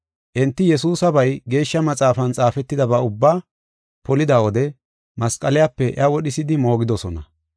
Enti Yesuusabay Geeshsha Maxaafan xaafetidaba ubba polida wode masqaliyape iya wodhisidi moogidosona.